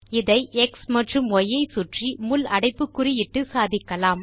இதை எக்ஸ் மற்றும் ய் ஐ சுற்றி முள் அடைப்புக்குறி இட்டு சாதிக்கலாம்